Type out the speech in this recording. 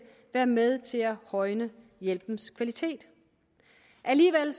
være med til at højne hjælpens kvalitet alligevel